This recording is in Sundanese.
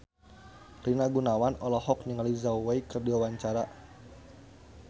Rina Gunawan olohok ningali Zhao Wei keur diwawancara